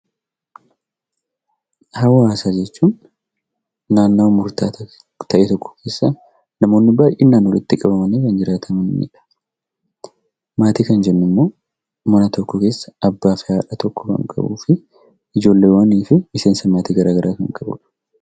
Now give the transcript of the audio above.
Hawaasa jechuun naannoowwan murta'aa ta'e tokkoo keessatti namoonni baay'inaan walitti qabamanni kan jiraatanidha. Maatii kan jennu immoo mana tokko keessa abba fi haadha kan qabu fi ijjollewwani fi miseensamoota gara garaa kan qabudha.